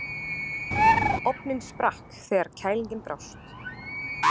Ofninn sprakk þegar kælingin brást.